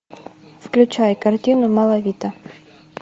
включай картину малавита